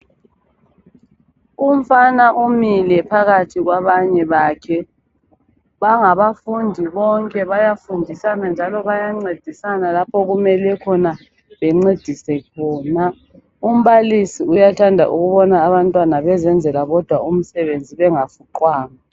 Umfana umile phakathi kwabanye bakhe. Bangabafundi bonke. Bayafundisana njalo bayancedisana lapho okumele khona bencedise khona. Umbalisi uyathanda ukubona abantwana bezenzela bodwa umsebenzi bengafuqwanga.